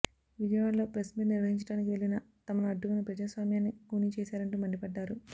విజయవాడలో press meet నిర్వహించడానికి వెళ్లిన తమను అడ్డుకుని ప్రజాస్వామ్యాన్ని కూనీ చేశారంటూ మండిపడ్డారు